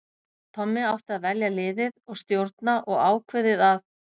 Tommi átti að velja liðið og stjórna og ákveðið að